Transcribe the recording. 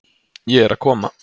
Ég er að koma.